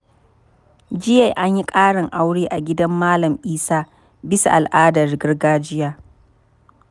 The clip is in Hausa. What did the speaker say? Jiya, an yi ƙarin aure a gidan Malam Isa bisa al’adar gargajiya.